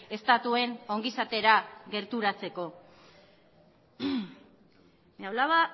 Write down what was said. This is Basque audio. estatuen ongizatera gerturatzeko hablaba